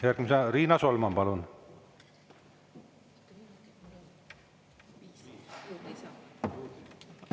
Järgmisena Riina Solman, palun!